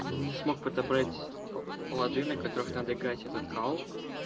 не смог подобрать лады на которых надо играть этот кал